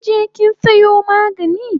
Kinje kin sayo magani?